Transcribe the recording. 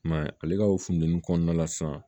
I m'a ye ale ka o funtɛni kɔnɔna la sisan